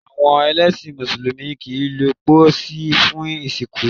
Awọn ẹlẹsin músùlùmí kii lo pósí fun ìsìnkú